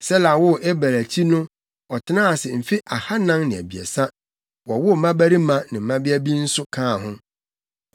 Sela woo Eber akyi no ɔtenaa ase mfe ahannan ne abiɛsa, wowoo mmabarima ne mmabea bi nso kaa ho.